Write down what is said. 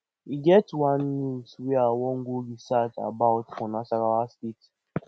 e get one news wey i wan go research about for nasarawa state